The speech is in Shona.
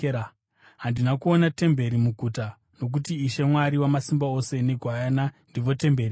Handina kuona temberi muguta, nokuti Ishe Mwari Wamasimba Ose neGwayana ndivo temberi yaro.